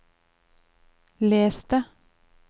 les det